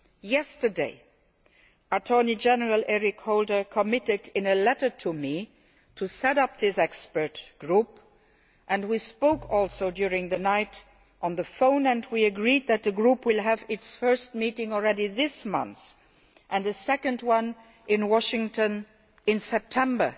Yesterday Attorney General Eric Holder committed, in a letter to me, to setting up this expert group and we also spoke on the phone during the night and agreed that the group will have its first meeting already this month and a second one in Washington in September.